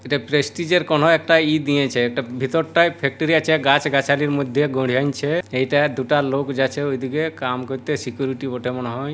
এটা প্রেস্টিজ এর কোন একটা ই দিয়েছে একটা ভেতরটায় ফ্যাক্টরি আছে গাছ গাছালির মধ্যে গড়ে আনছে এইটা দুটা লোক যাচ্ছে ওই দিকে কাম করতে সিকিউরিটি মনে হয়।